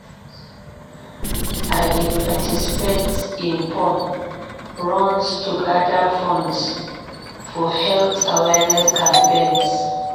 I dey participate in fun runs to gather funds for health awareness campaigns.